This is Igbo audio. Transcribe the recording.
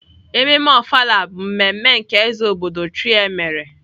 Ememme Ofala bụ mmemme nke eze obodo thr mere.